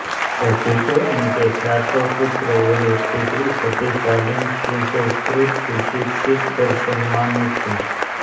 तभी तो इनके सातों पुत्र और एक पुत्री सभी शालीन सुसंस्कृत सुशिक्षित और सम्मानित हैं